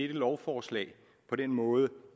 lovforslag på den måde